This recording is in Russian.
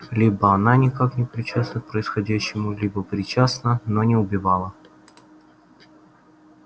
либо она никак не причастна к происходящему либо причастна но не убивала